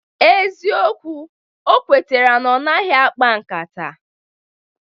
Eziokwu, o kwetere na ọ maghị akpa nkata